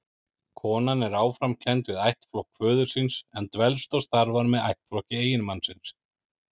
Konan er áfram kennd við ættflokk föður síns, en dvelst og starfar með ættflokki eiginmannsins.